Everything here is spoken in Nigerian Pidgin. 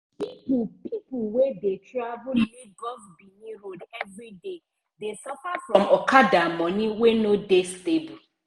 people people wey dey travel lagos-benin road everyday dey suffer from okada money wey no dey stable.